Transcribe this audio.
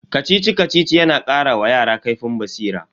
Kacici-Kacici yana kara wa yara kaifin basira.